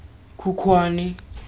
khukhwane